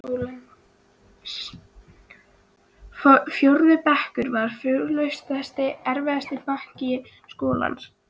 Fjórði bekkur var fortakslaust erfiðasti bekkur skólans.